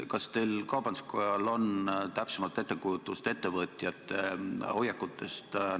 Kas kaubanduskojal on täpsemat ettekujutust ettevõtjate hoiakutest?